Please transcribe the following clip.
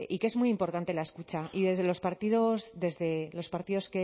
que es muy importante la escucha y desde los partidos